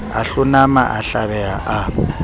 a hlonama a hlabeha a